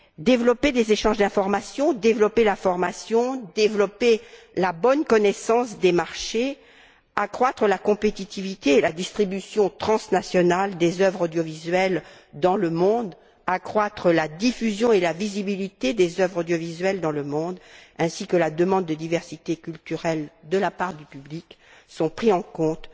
Développer les échanges d'information, la formation, la bonne connaissance des marchés, accroître la compétitivité et la distribution transnationale des œuvres audiovisuelles dans le monde, la diffusion et la visibilité des œuvres audiovisuelles dans le monde ainsi que la demande de diversité culturelle de la part du public, tout cela est pris en compte